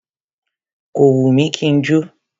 Kò wù mí kí n jó.